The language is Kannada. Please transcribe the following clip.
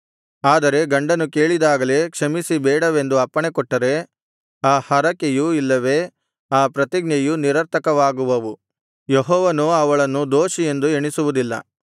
ಆದರೆ ಗಂಡನು ಕೇಳಿದಾಗಲೇ ಕ್ಷಮಿಸಿ ಬೇಡವೆಂದು ಅಪ್ಪಣೆಕೊಟ್ಟರೆ ಆ ಹರಕೆಯು ಇಲ್ಲವೆ ಆ ಪ್ರತಿಜ್ಞೆಯು ನಿರರ್ಥಕವಾಗುವವು ಯೆಹೋವನು ಅವಳನ್ನು ದೋಷಿಯೆಂದು ಎಣಿಸುವುದಿಲ್ಲ